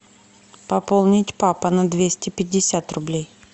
пополнить папа на двести пятьдесят рублей